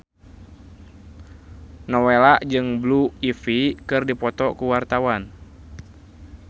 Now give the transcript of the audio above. Nowela jeung Blue Ivy keur dipoto ku wartawan